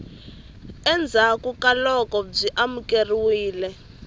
endzhaku ka loko byi amukerile